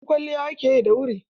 Yanzu kwalliya ake yi da wuri.